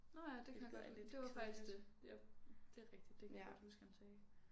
Nåh ja det kan jeg godt det var faktisk det jeg det er rigtigt det kan jeg godt huske han sagde